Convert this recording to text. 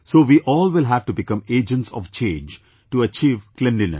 So we all will have to become agents of change to achieve cleanliness